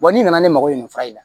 n'i nana ne mago ye nin fura in na